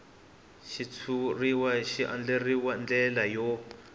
xitshuriwa xi andlariwil ndlela yo